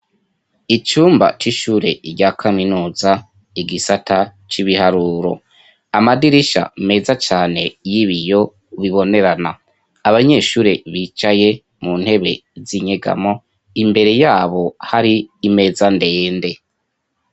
Icumba c'ishure rya kaminuza, igisata c'ibiharuro , amadirisha meza cane y'ibiyo bibonerana ,abanyeshure bicaye mu ntebe z'inyegamo imbere yabo hari imeza ndende.